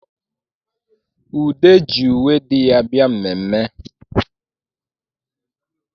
Ude ji uwe di ya bịa mmemme